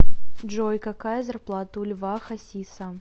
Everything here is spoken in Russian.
джой какая зарплата у льва хасиса